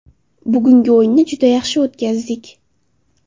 Bugungi o‘yinni juda yaxshi o‘tkazdik.